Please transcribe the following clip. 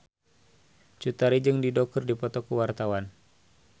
Cut Tari jeung Dido keur dipoto ku wartawan